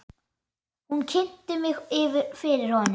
Hún kynnti mig fyrir honum.